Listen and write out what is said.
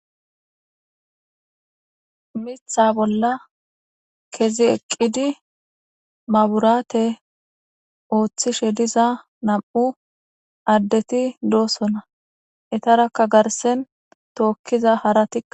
Miththa bolla kezzi eqqidi mabbirate ooththishe diiza nam'u addeti dossona eetaraka garrsen tookiza haaratika--